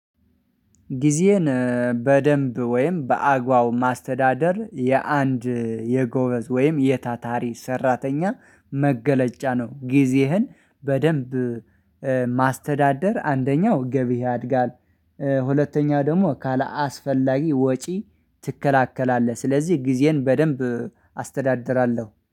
ጊዜዬን በደንብ ወይም በአግባቡ ማስተዳደር የአንድ የጎበዝ ወይም የታታሪ ሰራተኛ መገለጫ ነው። ጊዜህን በደንብ ማስተዳደር አንደኛው ገቢ ያድጋል ሁለተኛ ደግሞ ካላስፈላጊ ወጪ ትገላገላለህ። ስለዚህ ጊዜን በደንብ አስተዳድራለሁ